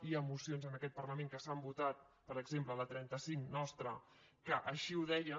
hi ha mocions en aquest parlament que s’han votat per exemple la trenta cinc nostra que així ho deien